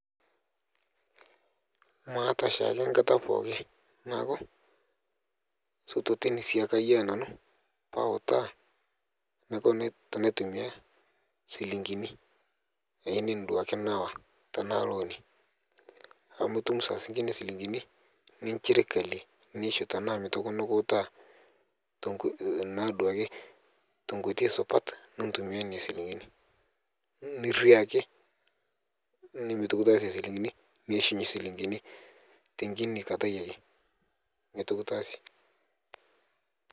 Maata shiake enkata pookin neaku pautaa enaiko paitumia shikingini tanaa loani amu itum saingini nchilingini nemikuuta nauta tenkoi supat naitumiabnona shilingini niriaki niishunye nchilingini tenkini kata ake nitu kitasie.